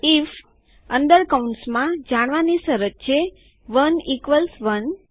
if અંદર કૌંસમાં જાણવાની શરત જે અહીં 1 1 છે